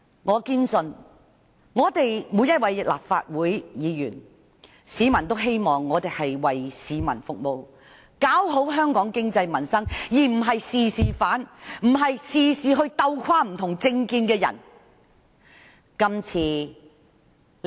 我堅信，市民希望每位立法會議員均為市民服務，搞好香港經濟民生，而不是凡事反對，鬥垮不同政見的人。